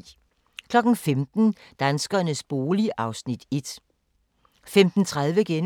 15:00: Danskernes bolig (Afs. 1) 15:30: